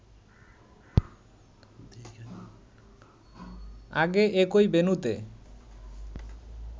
আগে একই ভেন্যুতে